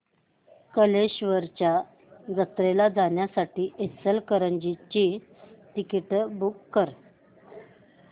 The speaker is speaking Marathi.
कल्लेश्वराच्या जत्रेला जाण्यासाठी इचलकरंजी ची तिकिटे बुक कर